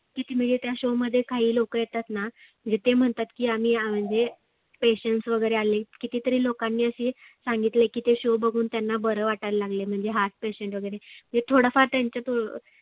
किती म्हणजे त्या show काही लोक येतातना म्हणजे ते म्हणतात की आम्ही म्हणजे petiant वगैरे आले किती तरी लोकांनी अशी सांगितले की ते show बघुन त्यांना बरं वाटायला लागलं म्हणजे heart petiant वगैरे हे थोडफार त्याच्यात